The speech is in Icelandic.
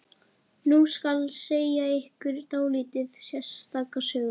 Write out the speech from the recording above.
Nú skal segja ykkur dálítið sérstaka sögu.